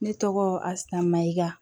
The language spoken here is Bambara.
Ne tɔgɔ asamiya